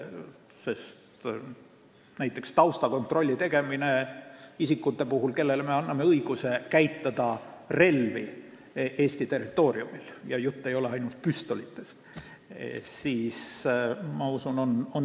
Ma usun, et näiteks taustakontrolli tegemine isikute puhul, kellele me anname õiguse käitada relvi Eesti territooriumil – ja jutt ei ole ainult püstolitest –, on täiesti loogiline.